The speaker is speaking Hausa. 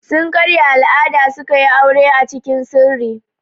Sun karya al'ada suka yi aure acikin sirri.